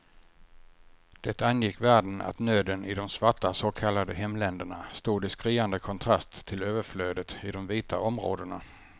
Det angick världen att nöden i de svarta så kallade hemländerna stod i skriande kontrast till överflödet i de vita områdena.